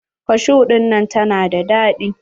Kashu ɗinnan ta na da daɗi.